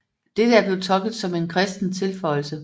Dette er blevet tolket som en kristen tilføjelse